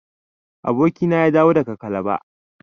Abokina ya dawo daga calabar.